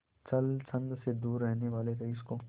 छल छंद से दूर रहने वाले रईस को